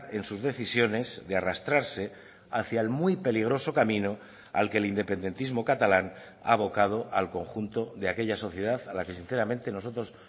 en sus decisiones de arrastrarse hacia el muy peligroso camino al que el independentismo catalán ha abocado al conjunto de aquella sociedad a la que sinceramente nosotros